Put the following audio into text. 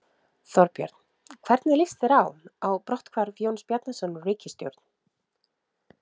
Þorbjörn: Hvernig líst þér á, á brotthvarf Jóns Bjarnasonar úr ríkisstjórn?